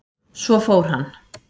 Svo fór hann.